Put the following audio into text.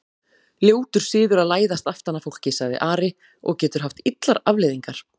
Ljótur siður að læðast aftan að fólki, sagði Ari,-og getur haft illar afleiðingar!